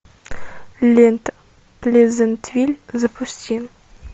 лента плезантвиль запусти